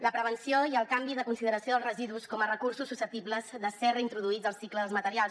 la prevenció i el canvi de consideració dels residus com a recursos susceptibles de ser reintroduïts al cicle dels materials